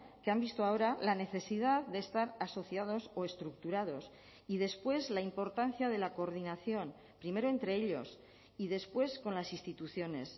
que han visto ahora la necesidad de estar asociados o estructurados y después la importancia de la coordinación primero entre ellos y después con las instituciones